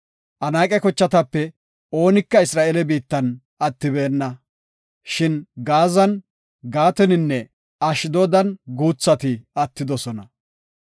Anaaqe kochatape oonika Isra7eele biittan attibeenna, shin Gaazan, Gaataninne Ashdoodan guuthati attidosona.